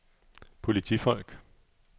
politifolk